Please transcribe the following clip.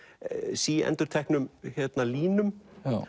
síendurteknum línum